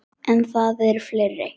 En það eru fleiri.